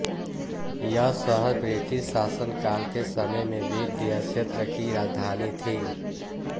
यह शहर ब्रिटिश शासनकाल के समय में विध्य क्षेत्र की राजधानी थी